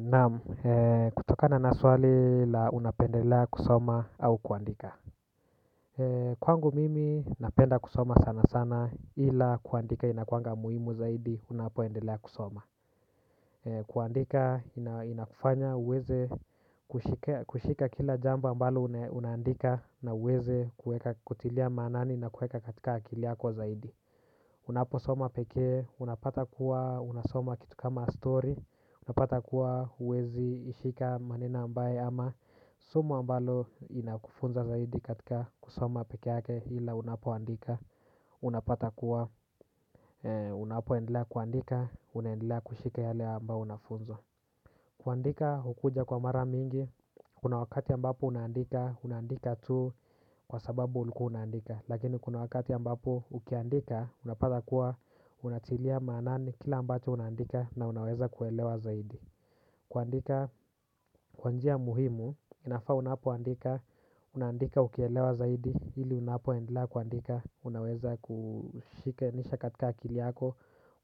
Naam ee kutokana na swali la unapendelea kusoma au kuandika. Kwangu mimi napenda kusoma sana sana ila kuandika inakuanga muhimu zaidi unapoendelea kusoma. Kuandika inakufanya uweze kushika kila jambo ambalo unaandika na uweze kutilia maanani na kuweka katika akili yako zaidi. Unapo soma peke, unapata kuwa unasoma kitu kama story, unapata kuwa huwezi ishika maneno ambaye ama somo ambalo inakufunza zaidi katika kusoma peke yake ila unapo andika, unapata kuwa unapo endelea kuandika, unaendelea kushika yale ambao unafunzwa. Kuandika hukuja kwa mara mingi, kuna wakati ambapo unaandika, unaandika tu kwa sababu ulikuwa unaandika. Lakini kuna wakati ambapo ukiandika, unapata kuwa unatilia maanani kila ambacho unandika na unaweza kuelewa zaidi. Kuandika kwa njia muhimu, inafaa unapo andika, unandika ukielewa zaidi, ili unapo endelea kuandika. Unaweza kushikanisha katika akili yako.